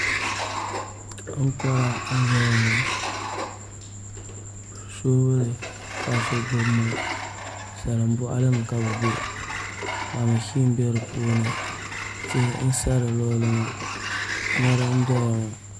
Ankora n ʒɛya ŋo soobuli ka so gbubi ŋo salin boɣali ni ka bi bɛ mashin bɛ di puuni tihi n sa di luɣuli ni ŋo mori n doya ŋo